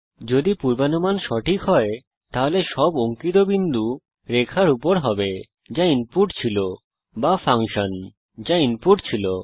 যদি পূর্বানুমান সঠিক হয় তাহলে সব অঙ্কিত বিন্দু রেখার উপর হবে যা ইনপুট ছিল বা ফাংশন যা ইনপুট ছিল